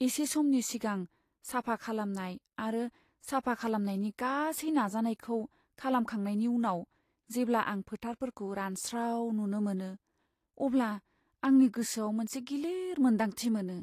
एसे समनि सिगां साफा खालामनाय आरो साफा खालामनायनि गासै नाजानायखौ खालामखांनायनि उनाव जेब्ला आं फोथारफोरखौ रानस्राव नुनो मोनो, अब्ला आंनि गोसोयाव मोनसे गिलिर मोनदांथि मोनो।